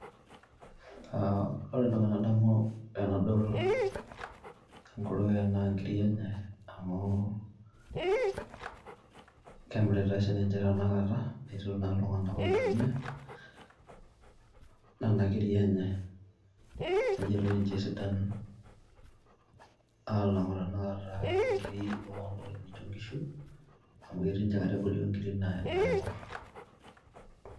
uh, ore entoki nadamu tenadol enkuruwe naa inkiri enye amuu kemiritae sininche tenakata ketii naa iltung'anak oitumia nana kiri enye nejitoi ninche sidan alang'u tenakata nkiri ontokin nijo nkishu amu ketii inche category onkiri naiborr.